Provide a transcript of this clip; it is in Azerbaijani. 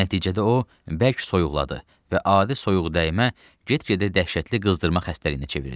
Nəticədə o bərk soyuqladı və adi soyuqdəymə get-gedə dəhşətli qızdırma xəstəliyinə çevrildi.